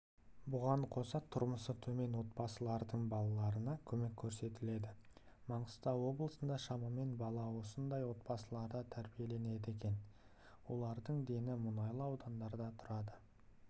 бұған қоса тұрмысы төмен отбасылардың балаларына көмек көрсетіледі маңғыстау облысында шамамен бала осындай отбасыларда тәрбиеленеді екен олардың дені мұнайлы ауданында тұрады